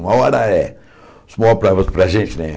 Uma hora é. Small problems para a gente, né?